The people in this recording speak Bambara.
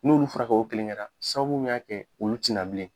N'olu furakɛ o kelen kɛ la sababu min y'a kɛ olu ti na bilen.